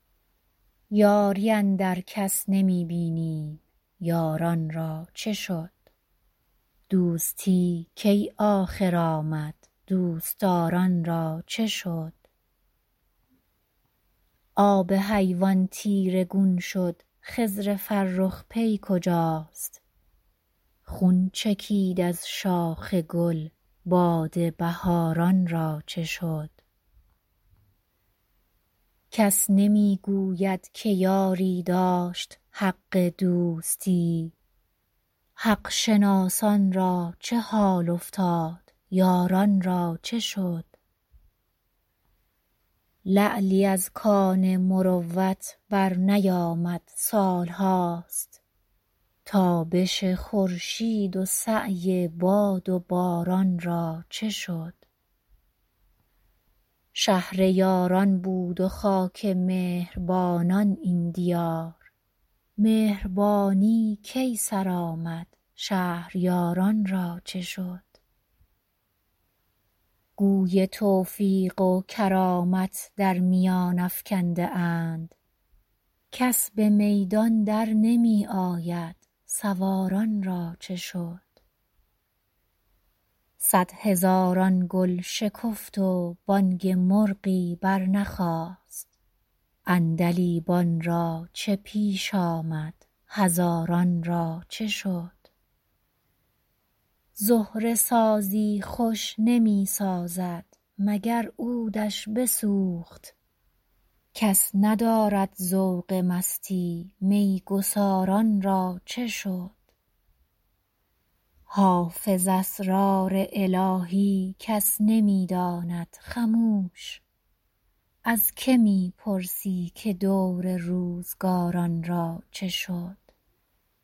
یاری اندر کس نمی بینیم یاران را چه شد دوستی کی آخر آمد دوست دار ان را چه شد آب حیوان تیره گون شد خضر فرخ پی کجاست خون چکید از شاخ گل باد بهار ان را چه شد کس نمی گوید که یاری داشت حق دوستی حق شناسان را چه حال افتاد یاران را چه شد لعلی از کان مروت برنیامد سال هاست تابش خورشید و سعی باد و باران را چه شد شهر یاران بود و خاک مهر بانان این دیار مهربانی کی سر آمد شهریار ان را چه شد گوی توفیق و کرامت در میان افکنده اند کس به میدان در نمی آید سوار ان را چه شد صدهزاران گل شکفت و بانگ مرغی برنخاست عندلیبان را چه پیش آمد هزاران را چه شد زهره سازی خوش نمی سازد مگر عود ش بسوخت کس ندارد ذوق مستی می گسار ان را چه شد حافظ اسرار الهی کس نمی داند خموش از که می پرسی که دور روزگار ان را چه شد